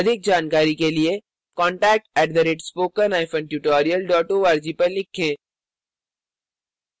अधिक जानकारी के लिए contact @spokentutorial org पर लिखें